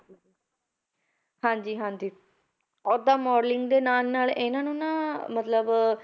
ਹਾਂਜੀ ਹਾਂਜੀ ਓਦਾਂ modeling ਦੇ ਨਾਲ ਨਾਲ ਇਹਨਾਂ ਨੂੰ ਨਾ ਮਤਲਬ